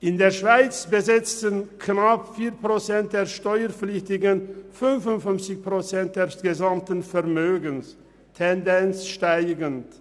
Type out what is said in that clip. In der Schweiz besitzen knapp 4 Prozent der Steuerpflichtigen 55 Prozent des gesamten Vermögens, Tendenz steigend.